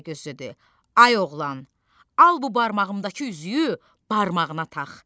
Təpəgöz dedi: Ay oğlan, al bu barmağımdakı üzüyü barmağına tax.